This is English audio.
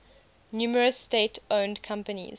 numerous state owned companies